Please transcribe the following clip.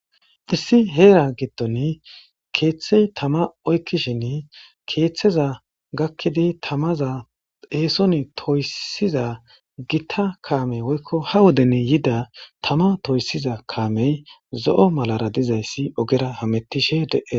Issi heera giddon keethe tama oykishin keetheza gaakidi taamaza eeson toyssiza gitta kaamey woykko ha woden yida tama toyssiza kaamey zo'o malara dizayssi oggera hametishe de'ess.